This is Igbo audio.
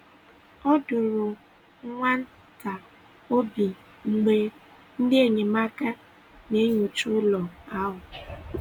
Ọ dọ̀ọrọ nwa ntà obi mgbe ndị enyemáka na-enyòcha ụlọ̀ ahụ̀.